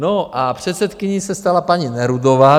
No a předsedkyní se stala paní Nerudová.